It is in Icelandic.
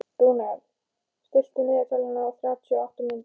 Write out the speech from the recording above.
Rúnel, stilltu niðurteljara á þrjátíu og átta mínútur.